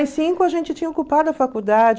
cinco a gente tinha ocupado a faculdade.